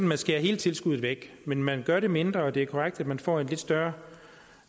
man skærer hele tilskuddet væk men man gør det mindre og det er korrekt at man får en lidt større